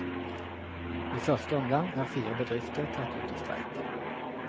I første omgang er fire bedrifter tatt ut i streik.